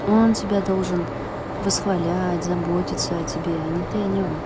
он тебя должен восхвалять заботиться о тебе а не ты о нём